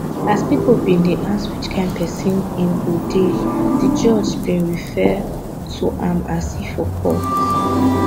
as pipo bin dey ask which kain prison im go come dey di judge bin refer to am as he for court